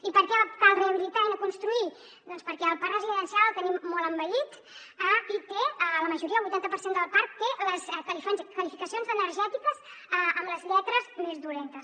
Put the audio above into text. i per què cal rehabilitar i no construir doncs perquè el parc residencial el tenim molt envellit i la majoria el vuitanta per cent del parc té les qualificacions energètiques amb les lletres més dolentes